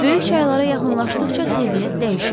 Böyük çaylara yaxınlaşdıqca təbiət dəyişir.